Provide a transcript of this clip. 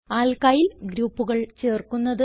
alkyl ഗ്രൂപ്പുകൾ ചേർക്കുന്നത്